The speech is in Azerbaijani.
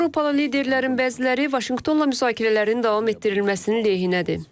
Avropalı liderlərin bəziləri Vaşinqtonla müzakirələrin davam etdirilməsinin lehinədir.